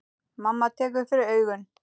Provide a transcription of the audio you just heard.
Mamma tekur fyrir augun.